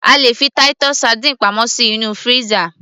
a lè fi Titus sardines pamọ́ sí inú freezer